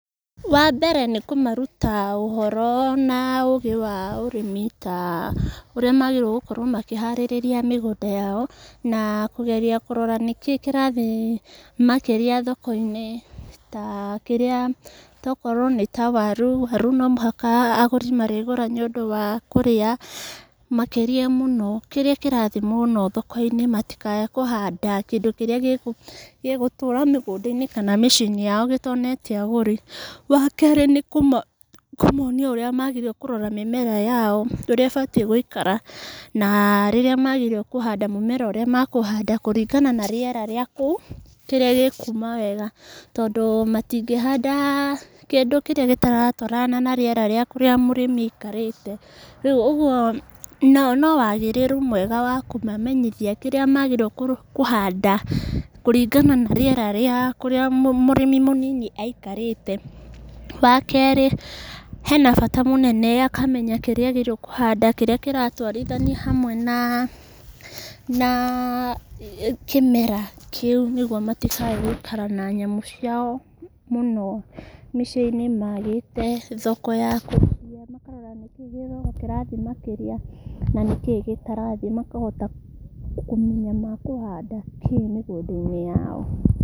Wa mbere nĩ kũmaruta ũhoro na ũgĩ wa ũrĩmi, ta ũrĩa magĩrĩirwo nĩ gũkorwo makĩharĩrĩria mĩgũnda yao, na kũgeria kũrora nĩkĩ kĩrathiĩ makĩria thoko-inĩ, takĩrĩa tokorwo nĩ ta waru, waru no mũhaka agũri marĩgũra nĩ ũndũ wa kũrĩa, makĩria mũno kĩrĩa kĩrathiĩ mũno thoko-inĩ matikaĩ kũhanda kĩndũ kĩrĩa gĩgũ gĩgũtũra mĩgũnda-inĩ kana mĩciĩ-inĩ yao gĩtonete agũri, wa kerĩ, nĩ nĩkũ nĩkũmonia ũrĩa magĩrĩirwo nĩ kũrora mĩmĩra yao, ũrĩa ĩbatiĩ gũikara, na rĩrĩa magĩrĩirwo kũhanda mũmera ũrĩa mekũhanda, kũringana na rĩera rĩa kũu, kĩrĩa gĩkuuma wega, tondũ matingĩhanda kĩndũ kĩrĩa gĩtaratwarana na rĩera rĩa kũrĩa mũrĩmi aikarĩte, rĩu ũguo no no wagĩrĩru mwega wa kũmamenyithia kĩrĩa magĩrĩirwo kũ kũhanda, kũringana na rĩera rĩa kũrĩa mũ mũrĩmi mũnini aikarĩte, wa kerĩ hena bata mũnene akamenya kĩrĩa agĩrĩirwo kũhanda kĩrĩa kĩratwarithania hamwe na na kĩmera kĩu, nĩguo matikaĩ gũikara na nyamũ ciao mũno mĩciĩ-inĩ magĩte thoko yakwendia, makarora nĩkĩ gĩthoko kĩrathiĩ makĩria, na nĩkĩ gĩtarathiĩ, makahota kũmenya mekũhanda kĩ mĩgũnda-inĩ yao.